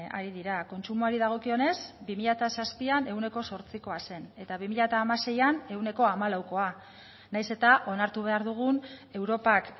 ari dira kontsumoari dagokionez bi mila zazpian ehuneko zortzikoa zen eta bi mila hamaseian ehuneko hamalaukoa nahiz eta onartu behar dugun europak